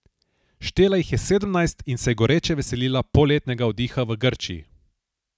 Štela jih je sedemnajst in se je goreče veselila poletnega oddiha v Grčiji.